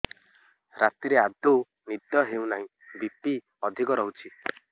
ରାତିରେ ଆଦୌ ନିଦ ହେଉ ନାହିଁ ବି.ପି ଅଧିକ ରହୁଛି